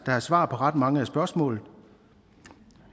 er svar på ret mange af spørgsmålene